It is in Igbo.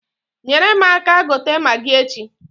Nyere m aka gote magi echi.